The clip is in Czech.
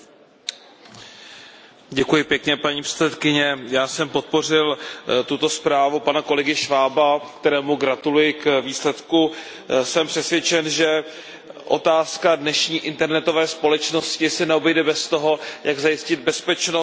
Paní předsedající, já jsem podpořil tuto zprávu pana kolegy Schwaba, kterému gratuluji k výsledku. Jsem přesvědčen, že otázka dnešní internetové společnosti se neobejde bez toho, jak zajistit bezpečnost síťovou a informační.